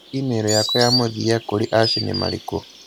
i-mīrū yakwa ya mũthia kũrĩ Ash nĩ marĩkũ?